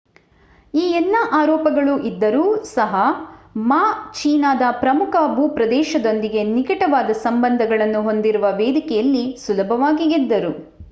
ಈ ಎಲ್ಲಾ ಆರೋಪಗಳು ಇದ್ದರೂ ಸಹ ಮಾ ಚೀನಾದ ಪ್ರಮುಖ ಭೂಪ್ರದೇಶದೊಂದಿಗೆ ನಿಕಟವಾದ ಸಂಬಂಧಗಳನ್ನು ಹೊಂದಿರುವ ವೇದಿಕೆಯಲ್ಲಿ ಸುಲಭವಾಗಿ ಗೆದ್ದರು